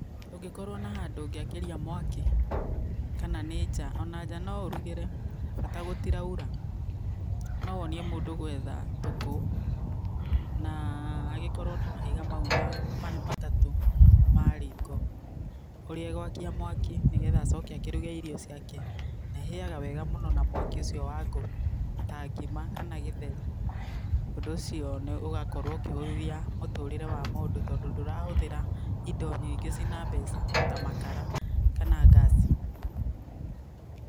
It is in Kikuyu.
Ũngĩkorwo na handũ ũngĩakĩria mwaki kana nĩ nja ona nja no ũrugĩre bata gũtiraura, no wonie mũndũ gwetha tũkũ na agĩkorwo na mahiga mau matatũ ma riko. Ũria agwakia mwaki nĩgetha agĩcoke akĩruge irio ciake, na ihĩyaga wega mũno na mwaki ũcio wa ngũ ta ngima kana gĩtheri. Ũndũ ũcio ũgakorwo ũkĩhũthia mũtũrĩre wa mũndũ tondũ ndũrahũthĩra indo nyingĩ ciĩ na mbeca ta makara kana ngasi.